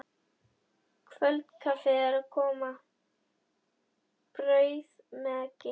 Kvöldkaffið er að koma, brauð með eggi.